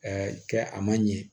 kɛ a man ɲɛ